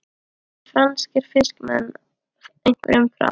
Það voru franskir fiskimenn, einkum frá